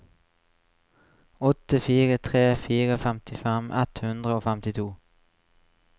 åtte fire tre fire femtifem ett hundre og femtito